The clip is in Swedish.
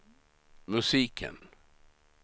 musiken